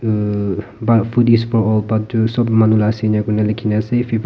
um bah food is for all bhat tu sob manu la ase inakoina likhina ase